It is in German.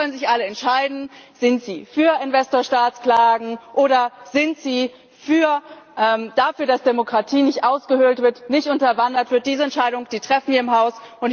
Sie können sich alle entscheiden Sind Sie für Investor Staat Klagen, oder sind Sie dafür, dass Demokratie nicht ausgehöhlt wird, nicht unterwandert wird? Diese Entscheidung treffen wir im Haus.